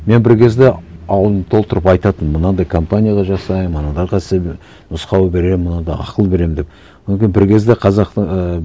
мен бір кезде аузымды толтырып айтатынмын мынандай компанияда жасаймын аналарға істеймін нұсқау беремін мынада ақыл беремін деп одан кейін бір кезде қазақтың ыыы